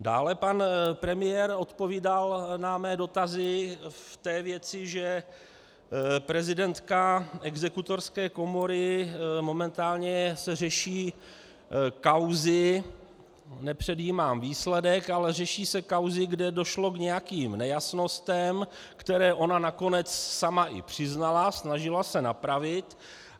Dále pan premiér odpovídal na mé dotazy v té věci, že prezidentka Exekutorské komory - momentálně se řeší kauzy, nepředjímám výsledek, ale řeší se kauzy, kde došlo k nějakým nejasnostem, které ona nakonec sama i přiznala, snažila se napravit.